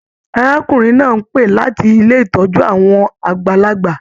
Arákùnrin náà ń pé láti ilé ìtọ́jú àwọn àgbàlagbà.